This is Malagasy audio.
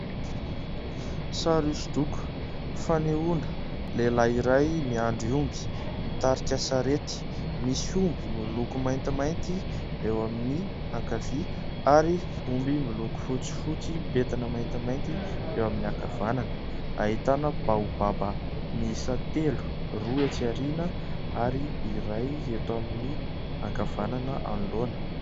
Sary hosodoko fanehoana lehilahy iray miandry omby mitarika sarety. Misy omby miloko maintimainty eo amin'ny ankavia ary omby miloko fotsifotsy mipentina maintimainty eo amin'ny ankavanana. Ahitana baobaba miisa telo : roa etsy aoriana ary iray eto amin'ny ankavanana anoloana.